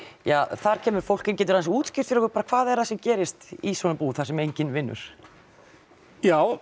þar kemur fólk inn geturðu aðeins útskýrt fyrir okkur hvað er það sem gerist í svona búð þar sem enginn vinnur ja já